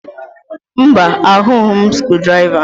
Mba, ahụghị m skrụdiraiva